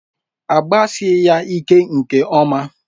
Agbasie ya ike nke ọma.